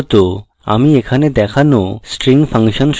আমি এখানে দেখানো string ফাংশন সম্পর্কে বলবো